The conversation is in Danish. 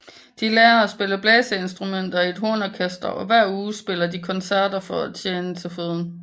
De lærer at spille blæseinstrumenter i et hornorkester og hver uge spiller de koncerter for at tjene til føden